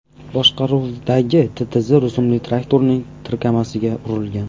boshqaruvidagi TTZ rusumli traktorning tirkamasiga urilgan.